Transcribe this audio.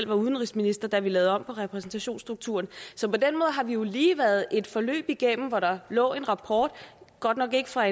var udenrigsminister da vi lavede om på repræsentationsstrukturen så på den måde har vi jo lige været et forløb igennem hvor der lå en rapport godt nok ikke fra